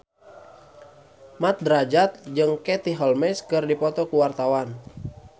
Mat Drajat jeung Katie Holmes keur dipoto ku wartawan